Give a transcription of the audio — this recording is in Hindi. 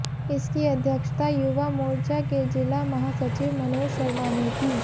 इसकी अध्यक्षता युवा मोर्चा के जिला महा सचिव मनोज शर्मा ने की